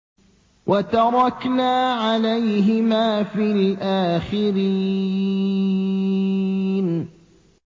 وَتَرَكْنَا عَلَيْهِمَا فِي الْآخِرِينَ